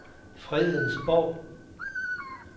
Fredensborg